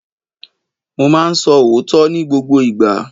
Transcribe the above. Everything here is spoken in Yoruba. Mo máa ń sọ òótọ́ ní gbogbo ìgbà.